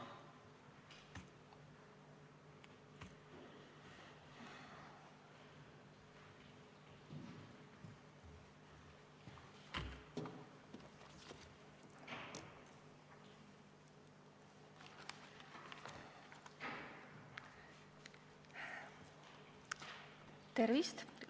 Tervist!